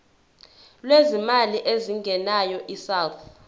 lwezimali ezingenayo isouth